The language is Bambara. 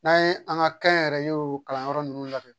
N'an ye an ka kɛnyɛrɛye o kalanyɔrɔ ninnu labɛn